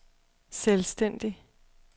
selvstændig